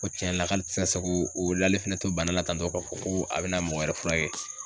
O tiɲɛ yɛrɛ la k'ale ti se k'o lale fɛnɛ to bana la tantɔ ka fɔ ko a bɛna mɔgɔ wɛrɛ furakɛ.